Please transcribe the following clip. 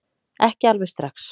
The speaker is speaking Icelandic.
Ekki alveg strax